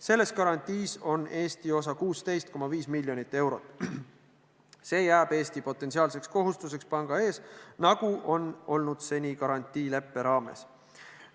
Selles garantiis on Eesti osa 16,5 miljonit eurot, see jääb Eesti potentsiaalseks kohustuseks panga ees, nagu on olnud seni garantiileppe raames.